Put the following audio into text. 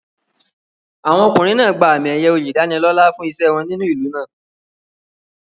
Àwọn ọkùnrin náà gba àmì-ẹ̀yẹ oyè ìdánilọ́là fún iṣẹ́ wọn nínú ìlú náà.